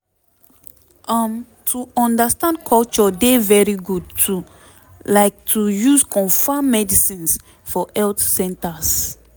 um to understand culture dey very good too like to use confam medicines for health centers